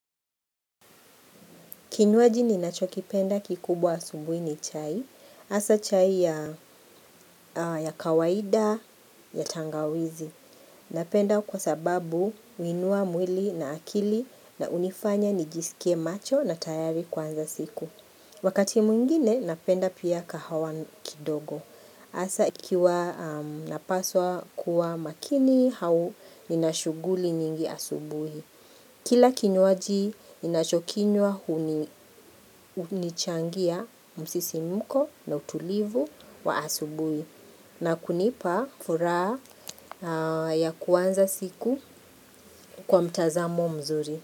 Kinyuaji ninachokipenda kikubwa asubuhi ni chai, haswa chai ya kawaida ya tangawizi. Napenda kwa sababu huinuwa mwili na akili na unifanya nijisikie macho na tayari kwanza siku. Wakati mwigine napenda pia kahawa kidogo. Haswa ikiwa napaswa kuwa makini au ninashuguli nyingi asubuhi. Kila kinywaji ninachokiniwa hunichangia msisimuko na utulivu wa asubui na kunipa furaha ya kuanza siku kwa mtazamo mzuri.